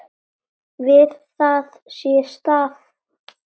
Við það sé staðið.